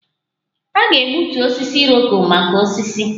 A ga-egbutu osisi Iroko maka osisi